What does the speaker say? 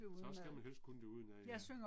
Så skal man helst kunne det udenad ja